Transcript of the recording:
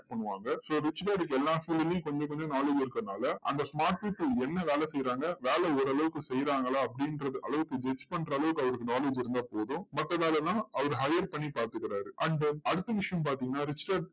பண்ணுவாங்க so rich dad க்கு எல்லா field லையும் கொஞ்சம் கொஞ்சம் knowledge இருக்கறதுனால, அந்த smart people என்ன வேலை செய்றாங்க? வேலை ஓரளவுக்கு செய்றாங்களா? அப்படின்றத அளவுக்கு judge பண்ற அளவுக்கு அவருக்கு knowledge இருந்தா போதும். மத்த வேலை எல்லாம் அவர் hire பண்ணி பார்த்துக்கிறார் and அடுத்த விஷயம் பாத்தீங்கன்னா rich dad